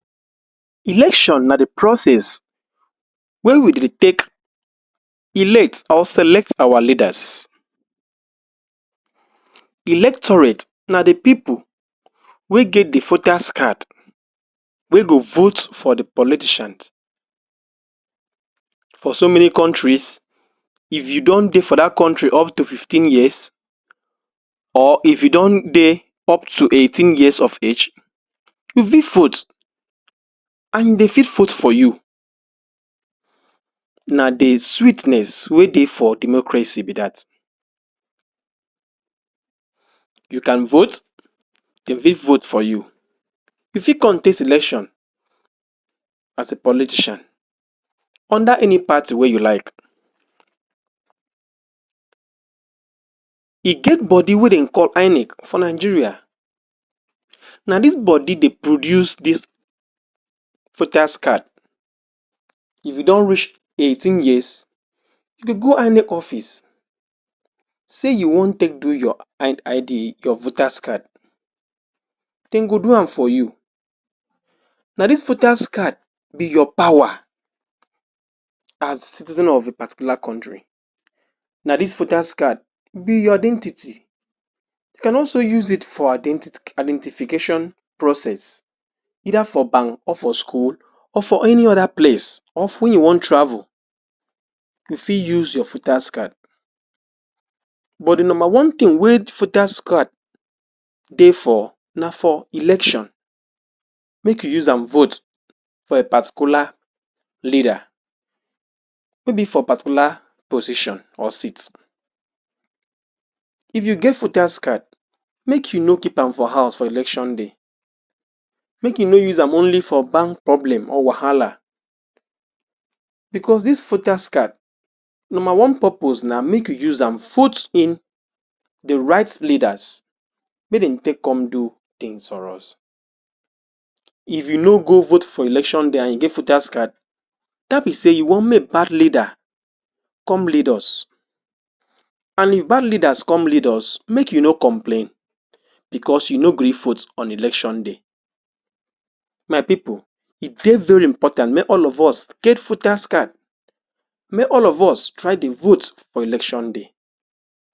? Na the process wey we dey take elect or select our leaders electoprate na the people wey get the voters card wey go vote for the plotician for somany countries if don dey for that country up to fifteen years or if don dey up to eigh ten years of age you fit vote and dey fit vote for you na dey sweetness wey dey for democracy be that you can vote dey fit vote for you you fit contest election as a politician under any party wey you like e get body wey dem call inec for nigeria na this body dey produce this voters card if you don reach eigh ten years you go inec office say you wan take do your id ID your voters card dem go do am for you na this voters card your power as the citizen of particular country na this voters card be your identity you can also use it for identit identification process either for bank or for school or for any other place of ten you wan travel you fit use your voters card but the no one thing wey the voters card dey for na for election make you use am vote for a particular leader wey be for particular position or state if you get voters card make you no keep am for house for election day make you no use am only for bank problem or wahala because this voters card no one purpose na make you us am put in the right leaders make dem take come do things for us if u no go vote for election day and you get voters card that mean say you wan makebad leader come lead us and if bad leaders come lead us make you no complain becauseyou no gree vote on election day my people e dey very important mey all of us get get voters card make all of us try dey vote for elecion day#